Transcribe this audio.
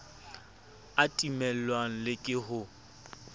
a timellwang le ke ho